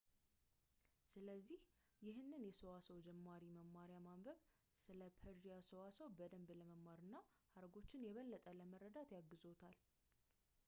ስለዚህ ይህንን የሰዋሰው ጀማሪ መማርያ ማንበብ ስለ ፐርዢያ ሰዋሰው በደንብ ለመማር እና ሀረጎችን የበለጠ ለመረዳት ያግዝዎታል